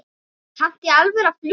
Kanntu í alvöru að fljúga?